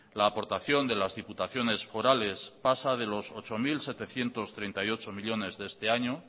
la aportación de las diputaciones forales pasa de los ocho mil setecientos treinta y ocho millónes de este año